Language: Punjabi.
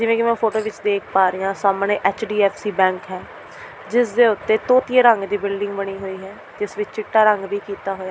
ਜਿਵੇਂ ਕਿ ਮੈਂ ਫੋਟੋ ਵਿਚ ਦੇਖ ਪਾ ਰਹੀਂ ਹਾਂ ਸਾਹਮਣੇ ਐੱਚ.ਡੀ.ਐੱਫ.ਸੀ. ਬੈਂਕ ਹੈ ਜਿਸ ਦੇ ਉੱਤੇ ਤੋਤੀਏ ਰੰਗ ਦੀ ਬਿਲਡਿੰਗ ਬਣੀ ਹੋਈ ਹੈ ਜਿਸ ਵਿਚ ਚਿੱਟਾ ਰੰਗ ਵੀ ਕੀਤਾ ਹੋਇਆ ਹੈ।